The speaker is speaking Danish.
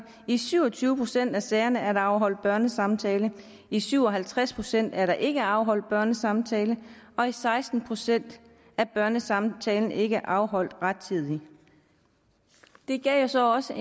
i syv og tyve procent af sagerne er der afholdt børnesamtale i syv og halvtreds procent er der ikke afholdt børnesamtale og i seksten procent er børnesamtalen ikke afholdt rettidigt det gav så også